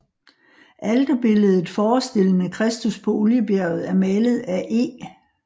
Alterbilledet forestillende Kristus på Oliebjerget er malet af E